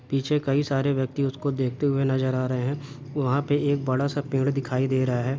पीछे कई सारे व्यक्ति उसको देखते हुए नज़र आ रहे है वहां पे एक बड़ा सा पेड़ दिखाई दे रहा है।